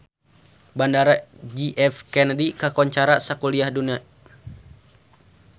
Bandara J F Kennedy kakoncara sakuliah dunya